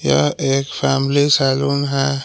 यह एक family salon है।